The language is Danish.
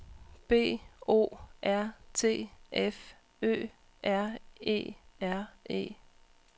B O R T F Ø R E R E